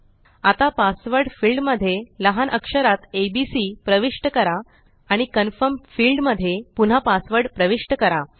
आता password field मध्ये लहान अक्षरात एबीसी प्रविष्ट करा आणि कन्फर्म फील्ड मध्ये पुन्हा पासवर्ड प्रविष्ट करा